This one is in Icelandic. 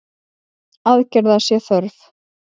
Aðgerða sé þörf.